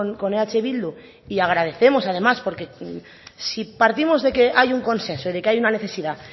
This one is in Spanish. con eh bildu y agradecemos además porque sí partimos que hay un consenso hay una necesidad